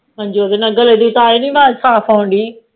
ਹਾਂਜੀ ਉਦੇ ਨਾਲ ਗੱਲ ਦੀ ਤਾਹਿ ਨੀ ਆਵਾਜ਼ ਸਾਫ ਆਉਂਦੀ